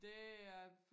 Det er